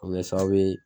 O bɛ kɛ sababu ye